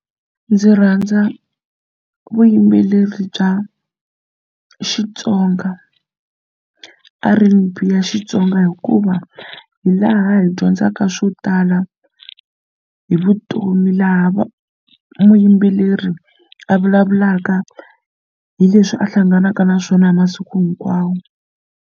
Ndzi rhandza vuyimbeleri bya Xitsonga R_N_B ya Xitsonga hikuva hi laha hi dyondzaka ka swo tala hi vutomi laha va muyimbeleri a vulavulaka hi leswi a hlanganaka na swona hi masiku hinkwawo.